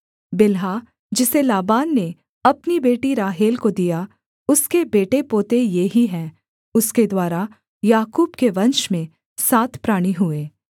बिल्हा जिसे लाबान ने अपनी बेटी राहेल को दिया उसके बेटे पोते ये ही हैं उसके द्वारा याकूब के वंश में सात प्राणी हुए